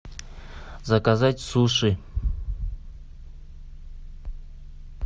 заказать суши